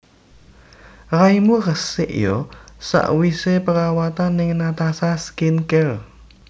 Raimu resik yo sakwise perawatan ning Natasha Skin Care